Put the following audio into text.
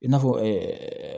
I n'a fɔ